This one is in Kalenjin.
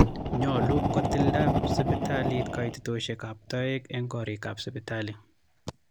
nyolu kotilda sibitaliit kaitetosiekaab toeek eng korilaab sibitali